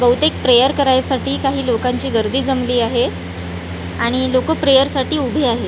बहुतेक प्रेयर करायसाठी काही लोकांची गर्दी जमली आहे आणि लोकं प्रेयर साठी उभी आहेत.